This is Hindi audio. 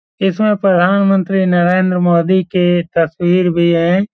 इसमें प्रधानमंत्री नरेंद्र मोदी के तस्वीर भी हैं।